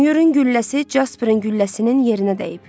Myurun gülləsi Casperin gülləsinin yerinə dəyib.